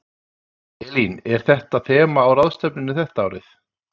Elín, er eitthvað þema á ráðstefnunni þetta árið?